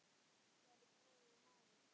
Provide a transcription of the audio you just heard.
Kæri bróðir og mágur.